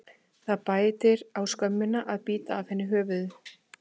Það bætir á skömmina að bíta af henni höfuðið.